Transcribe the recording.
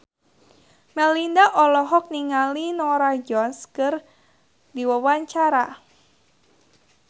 Melinda olohok ningali Norah Jones keur diwawancara